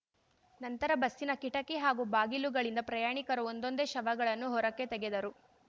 ನಂತರ ಬಸ್ಸಿನ ಕಿಟಕಿ ಹಾಗೂ ಬಾಗಿಲುಗಳಿಂದ ಪ್ರಯಾಣಿಕರ ಒಂದೊಂದೆ ಶವಗಳನ್ನು ಹೊರಕ್ಕೆ ತೆಗೆದರು